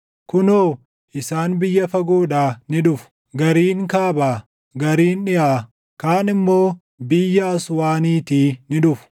Kunoo, isaan biyya fagoodhaa ni dhufu; gariin kaabaa, gariin dhiʼaa, kaan immoo biyya Aswaaniitii ni dhufu.”